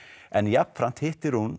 en jafnframt hittir hún